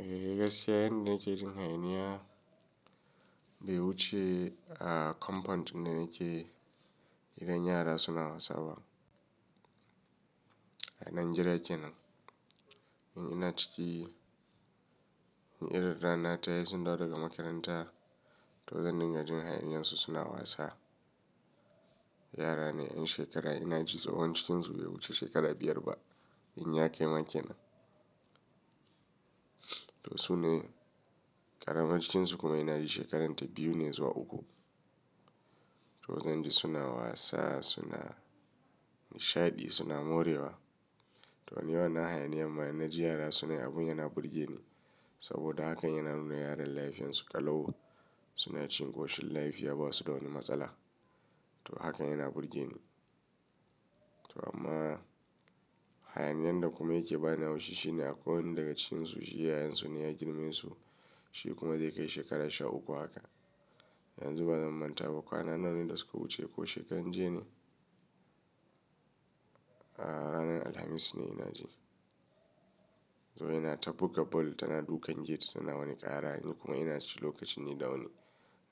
Eh, gaskiya ne da nake jin hayaniya. Bewu ce a compound ɗin da nake, idan yara suna wasa a nan jere kenan. Ina ciki, in irinra nata, yi sundawo daga makaranta. To zan dinga jin hayaniyan su suna wasa. Yara ne 'yan shekara ina ji tsohon cikin su bai wuce shekara biyar ba in ya kai man kenan. To su ne ƙaramar cikin su kuma ina ji shekaranta biyu ne zuwa uku. To zan ji suna wasa, suna nishaɗi, suna morewa. To ai ni wannan hayaniya mana ji yara sunayi abun yana burgeni. Saboda hakan yana nuna yaran lafiyan su ƙalauwa. Suna cikin ƙoshin lafi, ya ba su da wani matsala. To haka yana burgeni. To amma hayaniyan da kuma yake bani haushishi ne akwai wani daga cikin su shiyayen su ne ya girme su. Shi kuma zai kai shekara sha uku haka. Yanzu bazan manta ba, kwana nawa ne da suka wuce ko shekaran jiya ne? A ranar Alhamis ne ina jin. To wani yana ta buga ball, tana dukan gate ta nawa ni ƙara. Kuma ina ciki lokacin yi da wani.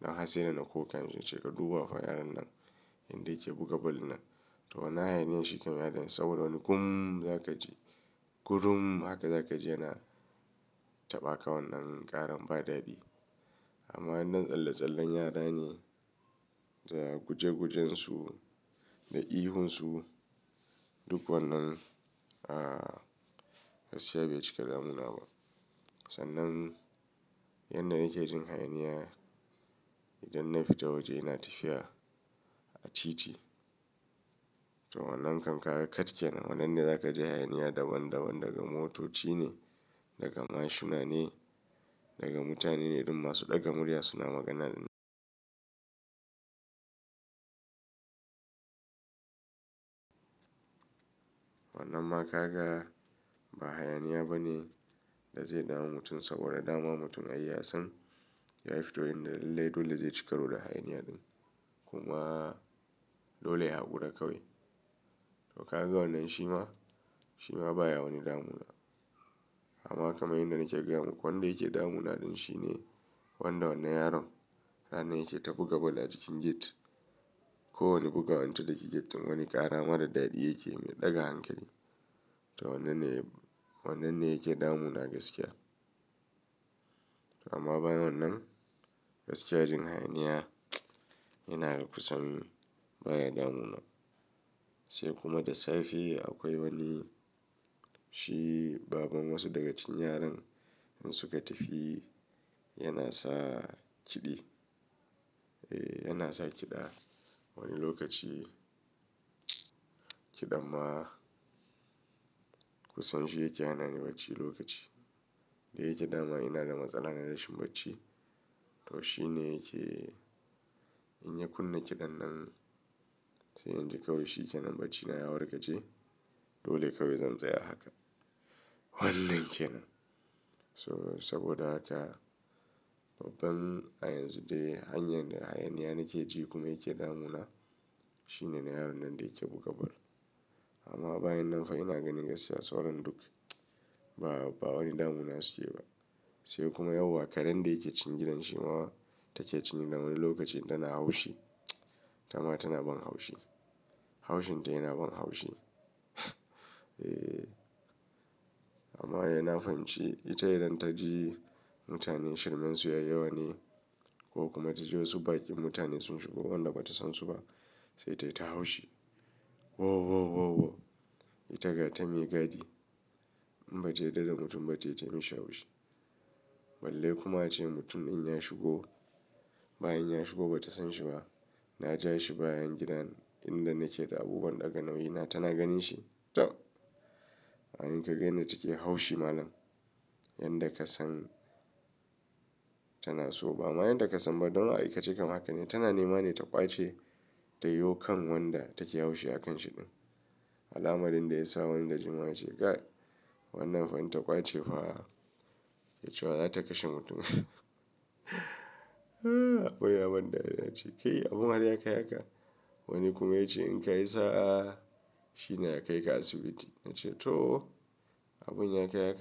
Don harsai dana na koka, mun ce ka duba wa yaronnan inda yake buga ball nan. To na hayani shi kam yaron saboda wani gum za ka ji. Gurum haka za ka ji yana taɓa ka wannan ƙaran badaɗi. Amma wannan tsalle-tsallen yara ne, da guje-gujen su, da ihun su, duk wannan a gaskiya bai cika damuna ba. Sannan yanda nake jin hayaniya, idan na fita waje ina tafiya a titi. To wannan kankaka katkenan, wannan ne za ka ji hayaniya daban daban daga motoci ne, daga mashuna ne, daga mutane ne duk masu ɗaga murya suna magana da- Wannan ma kaga ba hayaniya ba ne da zai dama mutum saboda dama mutum ai ya san ya fito yanda lallai dole zai ci karo da hayaniya ɗin. Kuma dole ya haƙura kawai. To kaga wannan shima, shima baya wani damuna. Amma kaman yanda nake gayamuku, kawai wanda yake damuna ɗin shine wanda wannan yaron ranar yake ta buga ball a cikin gate. Ko wani buga wanda take get din wani ƙara mara daɗi yake mai ɗaga hankali. To wannan ne, wannan ne yake damuna gaskiya. Amma bayan wannan gaskiyar jin hayaniya, ina kusan baya damuna. Sai kuma da safe akwai wani shi baban wasu daga cikin yaran in suka tafi yana sa kiɗi. Eh, yana sa kiɗa. Wani lokaci kiɗan ma kusan shi yake hana ni bacci lokaci. Da yake dama ina da matsala na rashin bacci. To shi ne yake in ya kunna kiɗan nan sai in ji kawai shi kenan bacci na ya warga je. Dole kawai zan tsaya haka. Wannan kenan. So saboda haka babban a yanzu dai hanyar da hayaniya nake ji kuma yake damuna shine yaronnan da yake buga ball. Amma bayan nan fa ina gani gaskiya sauran duk ba, ba wani damuna suke ba. Sai kuma yau wa karen da yake cikin gidan shi ma take cikin gidanwani lokaci tana haushi. Tama tana ban haushi. Haushin ta yana ban haushi. Eh amma yana fan ci. Ita idan ta ji mutane shirmansu ya yi wani ko kuma ta ji wasu baƙin mutane sun shigo wanda ba ta san su ba sai ta ita haushi. Wo, wo, wo, wo. Ita gata me gadi. In ba ta yarda da mutum ba ta yi ta mishi haushi. Balle kuma ace mutum in ya shigo ba in ya shigo ba ta san shi ba. Na ja shi bayan gidan inda nake da abubuwan ɗaga nauyi na tana ganin shi. Tam! Anyi ka ganyanda take haushi malam. Yanda ka san tana so ba. Amma yanda ka san ba don ai ita ce kan haka ne. Tana nemane ta ƙwace tayiwo kan wanda take haushi a kan shi ɗin. Al'amarin da ya sa wanida jima wa yace ga wannan fa inta ƙwace fa ita zata kashe mutumin. Akwai abin da yana cike, abun harya kai ya ka. Wani kuma yace in kay isa shi ne ya kai ga asibiti. Nache to abun ya kai ha ka.